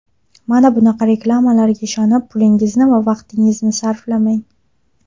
Mana bunaqa reklamalarga ishonib, pulingizni va vaqtingizni sarflamang.